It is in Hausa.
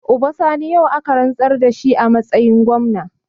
Uba Sani yau aka rantsar da shi a matsayin gwamna.